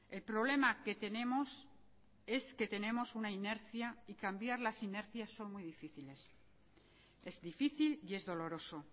el problema que tenemos es que tenemos una inercia y cambiar las inercias son muy difíciles es difícil y es doloroso